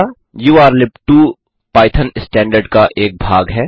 urllib2 Python standard का एक भाग है